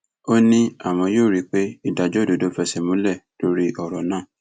ó ní àwọn yóò rí i pé ìdájọ òdodo fẹsẹ múlẹ lórí ọrọ náà